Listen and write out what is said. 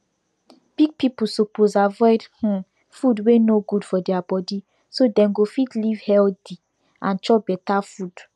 big pipiu suppose avoid um food wey no good for deir body so dem go fit live healthy and chop better food